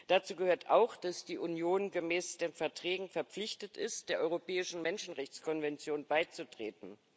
Dazu gehört auch, dass die Union gemäß den Verträgen verpflichtet ist, der Europäischen Menschenrechtskonvention beizutreten.